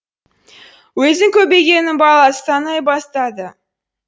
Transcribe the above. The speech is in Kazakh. өзін көбегеннің баласы санай бастады